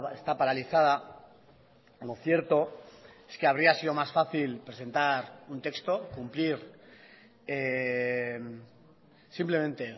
está paralizada lo cierto es que habría sido más fácil presentar un texto cumplir simplemente